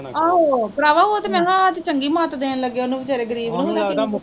ਆਹੋ ਪਰਾਵਾਂ ਓਹ ਤੇ ਮੈਂ ਕਿਹਾ ਸੱਚ ਚੰਗੀ ਮਤ ਦੇਣ ਲੱਗੇ ਓਹਨੂੰ ਵਿਚਾਰੇ ਗਰੀਬ ਨੂੰ